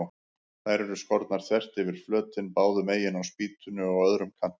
Þær eru skornar þvert yfir flötinn, báðu megin á spýtunni og á öðrum kantinum.